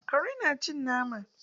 Kare na cin nama?